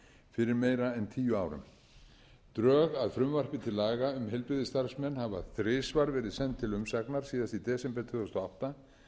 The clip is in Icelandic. fyrir meira en tíu árum drög að frumvarpi til laga um heilbrigðisstarfsmenn hafa þrisvar verið send til umsagnar síðast í desember tvö þúsund og átta